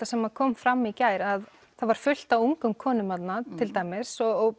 sem kom fram í gær að það var fullt af ungum konum þarna til dæmis og